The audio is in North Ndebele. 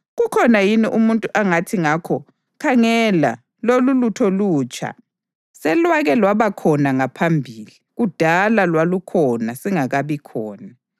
Kukhona yini umuntu angathi ngakho, “Khangela! Lolulutho lutsha?” Selwake lwaba khona ngaphambili, kudala; lwalukhona singakabi khona.